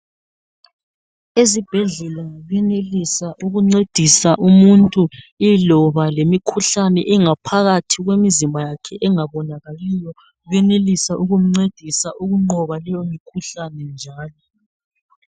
Ezibhedlela benelisa ukuncedisa umuntu iloba lemikhuhlane ingaphakathi kwemizimba yakhe engabonakaliyo. Benelisa ukumncedisa ukunqoba leyi mkhuhlane njalo.